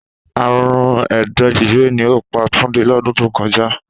Àrùn ẹ̀dọ̀ jẹjẹrẹ ni ó pa Túndé lọ́dún tó kọjá